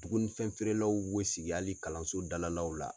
Duguni fɛn feere law bɛ sigi hali kalanso dalalaw la.